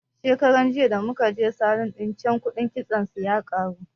Shekaran jiya da muka je salun ɗin can kuɗin kitson su ya karu